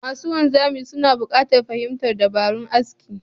Masu wanzami suna buƙatar fahimtar dabarun aski